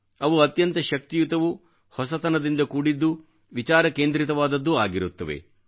ಅವು ಅತ್ಯಂತ ಶಕ್ತಿಯುತವೂ ಹೊಸತನದಿಂದ ಕೂಡಿದ್ದೂ ವಿಚಾರ ಕೇಂದ್ರಿತವಾದದ್ದೂ ಆಗಿರುತ್ತದೆ